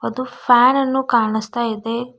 ಅದು ಫ್ಯಾನ್ ಅನ್ನು ಕಾಣಸ್ತಾ ಇದೆ.